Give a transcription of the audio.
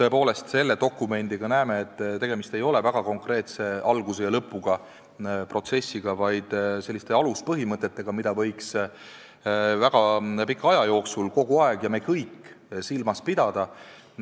seda dokumenti koostades nägime, et tegemist ei ole väga konkreetse alguse ja lõpuga protsessiga, vaid selliste aluspõhimõtetega, mida me kõik võiksime väga pika aja jooksul kogu aeg silmas pidada.